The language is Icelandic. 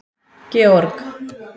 Georg